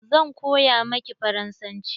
Zan koya maki faransanci.